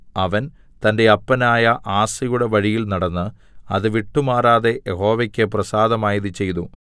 അവൻ തന്റെ അപ്പനായ ആസയുടെ വഴിയിൽ നടന്ന് അത് വിട്ടുമാറാതെ യഹോവയ്ക്ക് പ്രസാദമായത് ചെയ്തു